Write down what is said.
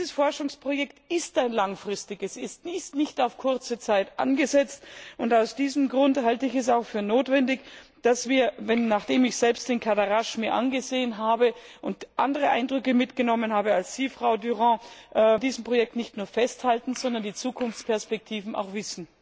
Dieses Forschungsprojekt ist ein langfristiges, es ist nicht auf kurze Zeit angesetzt, und aus diesem Grund halte ich es für notwendig, dass wir nachdem ich mir selbst Cadarache angesehen habe und andere Eindrücke mitgenommen habe, als Sie, Frau Durant an diesem Projekt nicht nur festhalten, sondern die Zukunftsperspektiven auch kennen.